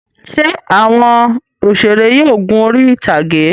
Ṣé àwọn òṣèré yóò gun orí-ìtàgé?